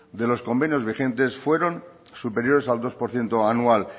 de los convenios vigentes fueron superiores al dos por ciento anual